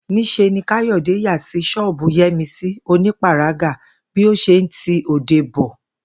Ní s̩e ni Káyò̩dé yà sí s̩ó̩ò̩bù Yé̩misí onípàragá bí ó s̩e ń ti òde bo